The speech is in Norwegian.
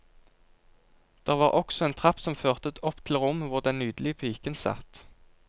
Der var også en trapp som førte opp til rommet hvor den nydelige piken satt.